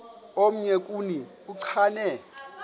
omnye kuni uchane